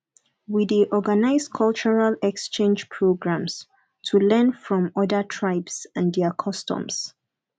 we dey organize cultural exchange programs to learn from other tribes and their customs